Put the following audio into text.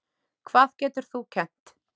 Hvað getur þú kennt?